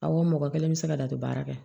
Awɔ mɔgɔ kelen bɛ se ka datugu baara kɛ